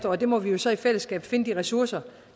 og der må vi jo så i fællesskab finde de ressourcer